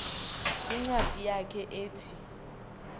kwincwadi yakhe ethi